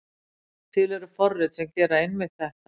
Til eru forrit sem gera einmitt þetta.